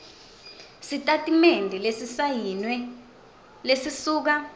sitatimende lesisayiniwe lesisuka